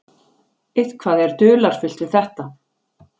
Eitthvað er dularfullt við þetta.